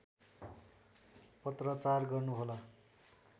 पत्राचार गर्नुहोला